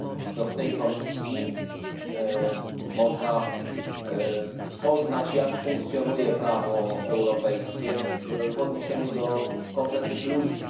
To w tej komisji można poznać, jak funkcjonuje prawo europejskie w odniesieniu do konkretnych ludzi.